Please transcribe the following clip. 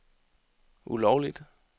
ulovligt